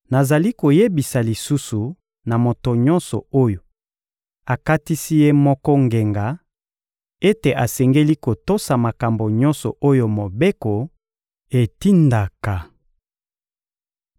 Nazali koyebisa lisusu na moto nyonso oyo akatisi ye moko ngenga ete asengeli kotosa makambo nyonso oyo Mobeko etindaka.